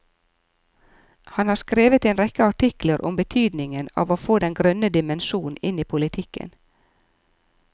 Han har skrevet en rekke artikler om betydningen av å få den grønne dimensjon inn i politikken.